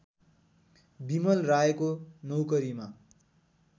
बिमल रायको नौकरीमा